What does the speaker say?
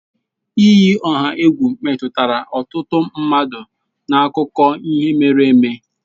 Iyi ọha egwu emetụtala ọtụtụ mmadụ n'akụkọ ihe mere eme